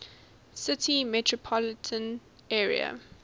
city metropolitan area